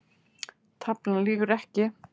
Taflan lýgur ekki